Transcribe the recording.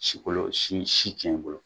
Si kolo, sin si tiɲɛ kolo.